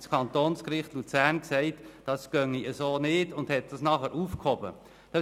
Das Kantonsgericht Luzern befand, das gehe so nicht und entschied die Aufhebung des Vertrags.